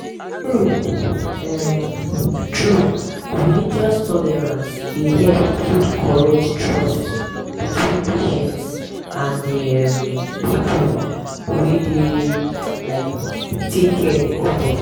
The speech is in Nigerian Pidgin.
true um true religious tolerance dey help build correct trust between patients and the um people wey dey um take care of them.